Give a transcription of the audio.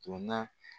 Donna